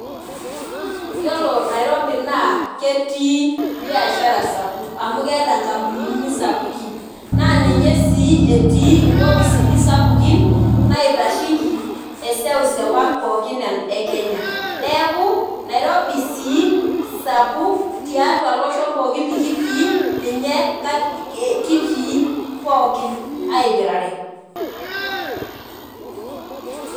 Yiolo nairobi naa ketii biashara sapuk amu keeta nkampunini sapukin naa ninye sii etii inkopisini pookin naitasheiki eseseu ang pookin ekenya , neeku nairobi sii sapuk tiatua loshon likitii , ninye kitii pookin aipirare.